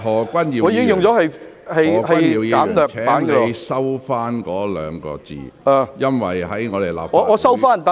何君堯議員，請你收回這兩個字，因為在立法會......